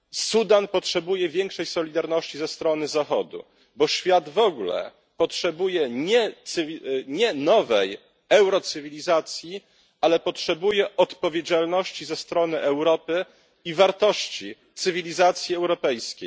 Sudan potrzebuje większej solidarności ze strony Zachodu, bo świat w ogóle potrzebuje nie nowej eurocywilizacji, ale odpowiedzialności ze strony Europy i wartości cywilizacji europejskiej.